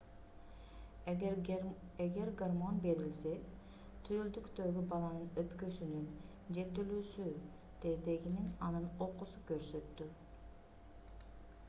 эгер гормон берилсе түйүлдүктөгү баланын өпкөсүнүн жетилүүсү тездегенин анын окуусу көрсөттү